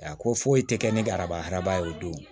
A ko foyi tɛ kɛ ne ka arabaara ye o don